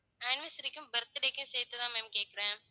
anniversary க்கும் birthday க்கும் சேர்த்துதான் ma'am கேக்கிறேன்